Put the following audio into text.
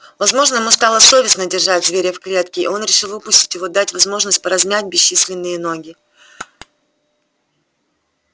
возможно ему стало совестно держать зверя в клетке и он решил выпустить его дать возможность поразмять бесчисленные ноги